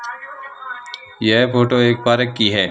यह फोटो एक पार्क की है।